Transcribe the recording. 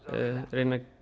reyna að